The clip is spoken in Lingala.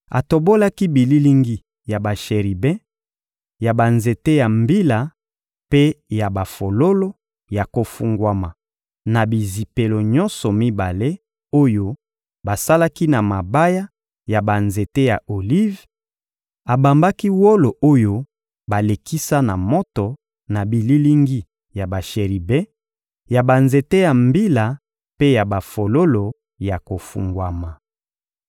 Atobolaki bililingi ya basheribe, ya banzete ya mbila mpe ya bafololo ya kofungwama na bizipelo nyonso mibale oyo basalaki na mabaya ya banzete ya olive; abambaki wolo oyo balekisa na moto na bililingi ya basheribe, ya banzete ya mbila mpe ya bafololo ya kofungwama.